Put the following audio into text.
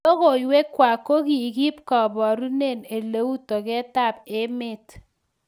Logoiywekwak kogikiib kiborunen eleu togetab emet